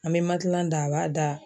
An be matilan da, a b'a da.